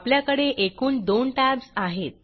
आपल्याकडे एकूण दोन टॅब्ज आहेत